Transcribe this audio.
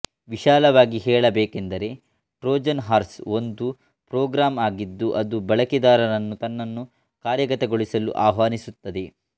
ವಿಶಾಲವಾಗಿ ಹೇಳಬೇಕೆಂದರೆ Trojan horse ಒಂದು ಪ್ರೊಗ್ರಾಮ್ ಆಗಿದ್ದು ಅದು ಬಳಕೆದಾರರನ್ನು ತನ್ನನ್ನು ಕಾರ್ಯಗತಗೊಳಿಸಲು ಆಹ್ವಾನಿಸುತ್ತದೆ